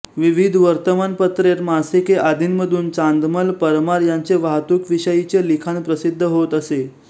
विविध वर्तमानपत्रेर मासिके आदींमधून चांदमल परमार यांचे वाहतूक विषयीचे लिखाण प्रसिद्ध होत असे